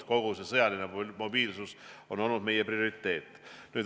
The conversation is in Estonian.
Kogu see sõjaline mobiilsus on olnud meie prioriteet.